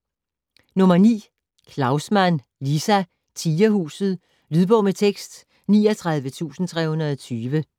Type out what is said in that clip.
Klaussmann, Liza: Tigerhuset Lydbog med tekst 39320